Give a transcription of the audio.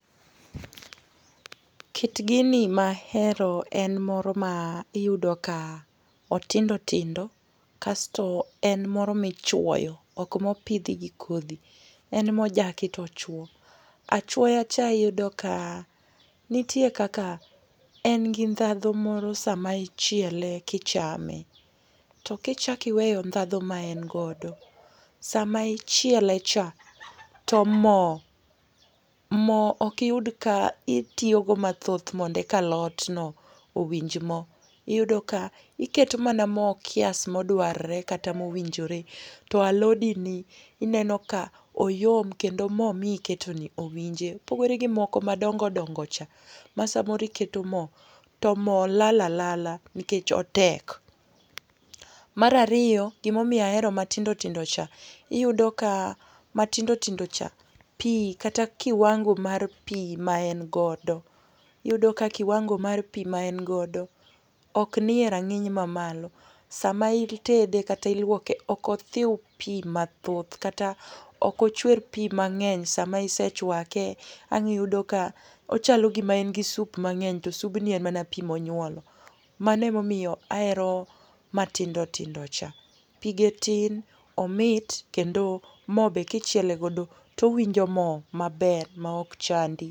Kit gini ma ahero en moro ma iyudo ka otindo tindo. Kasto en moro michwoyo, ok mopidhi gi kodhi. En mojaki to ochwo. Achwoya cha iyudo ka nitie kaka eng' gi ndhadhu moro sama ichiele kichame. To kichak iweyo ndhadhu ma en godo, sama ichiele cha to mo, mo ok iyud ka itiyogo mathoth mondo eka alot no owinj mo. Iyudo ka iketo mana mo kiasi modwarre kata mowinjore. To alodini ineno ka oyom, kendo mo mi iketoni owinje. Pogore gi moko madongo dongo cha, ma samoro iketo mo, to mo lal alala nikech otek. Mar ariyo, gima omiyo ahero matindo tindo cha iyudoka matindo tindo cha, pi kata kiwango mar pi maengodo iyudo ka kiwango mar pi ma engodo ok ni e rang'iny mamalo. Sama itede, kata ilwuoke ok othiw pi mathoth. Kata ok ochwer pi mang'eny. Sama isechwake, ang' iyudo ka ochalo gima en gi soup mang'eny to soup ni en mana pi monyuolo. Mano ema omiyo ahero matindo tindo cha. Pige tin, omit, kendo mo be kachiele godo to owinjo mo maber maok chandi.